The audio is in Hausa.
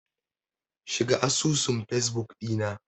Shiga asusun fesbuk ɗina.